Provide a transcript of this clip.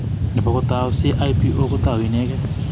Nebo tau CIPO kotou inegee.